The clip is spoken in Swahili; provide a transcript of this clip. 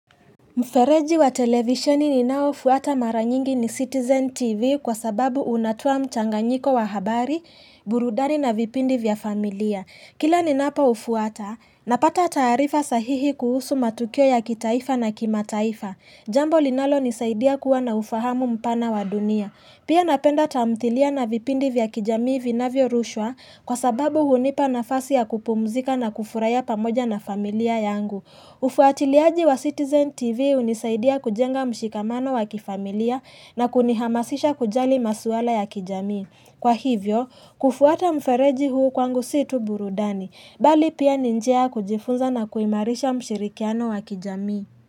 Mfereji wa televisheni ninaofuata mara nyingi ni Citizen TV kwa sababu unatoa mchanganyiko wa habari, burudani na vipindi vya familia. Kila ninapoufuata, napata taarifa sahihi kuhusu matukio ya kitaifa na kimataifa. Jambo linalo nisaidia kuwa na ufahamu mpana wa dunia. Pia napenda tamthilia na vipindi vya kijamii vinavyo rushwa kwa sababu hunipa nafasi ya kupumzika na kufurahia pamoja na familia yangu. Ufuatiliaji wa Citizen TV hunisaidia kujenga mshikamano wa kifamilia na kunihamasisha kujali maswala ya kijamii. Kwa hivyo, kufuata mfereji huu kwangu si tu burudani, bali pia ni njia ya kujifunza na kuimarisha mshirikiano wa kijamii.